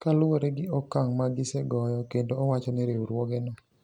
Kaluwore gi okang` ma gisegoyo kendo owacho ni riwruogeno